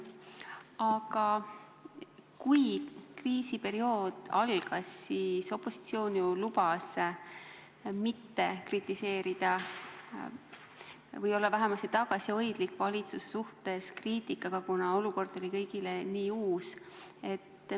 Aga kui kriisiperiood algas, siis opositsioon ju lubas mitte kritiseerida või olla vähemasti tagasihoidlik kriitikaga valitsuse suhtes, kuna olukord oli kõigile nii uus.